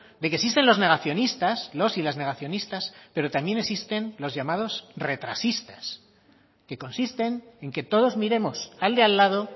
de que existen los negacionistas los y las negacionistas pero también existen los llamados retrasistas que consisten en que todos miremos al de al lado